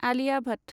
आलिआ भट